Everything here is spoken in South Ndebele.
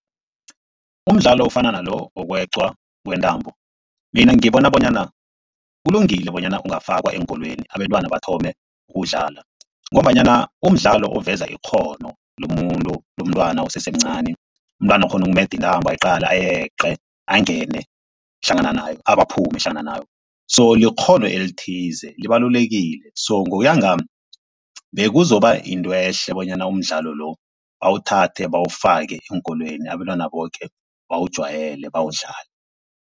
Umdlalo ofana nalo, wokweqwa kwentambo mina ngibona bonyana kulungile bonyana ungafakwa eenkolweni abentwana bathome ukuwudlala ngombanyana umdlalo uveza ikghono lomuntu lomntwana osesemncani. Umntwana akghone ukumeda intambo ayeqe, angene hlangana nayo abaphume hlangana nayo. So likghono elithize libalulekile. So ngokuya ngami bekuzoba yinto ehle bonyana umdlalo lo bawuthathe bawufake eenkolweni abentwana boke bawujwayele bawudlale.